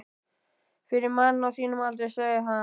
Fyrir mann á þínum aldri, sagði hann.